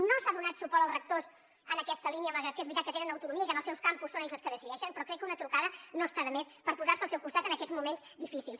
no s’ha donat suport als rectors en aquesta línia malgrat que és veritat que tenen autonomia i que en els seus campus són ells els que decideixen però crec que una trucada no està de més per posar se al seu costat en aquests moments difícils